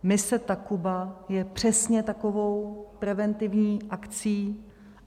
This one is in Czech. Mise Takuba je přesně takovou preventivní akcí.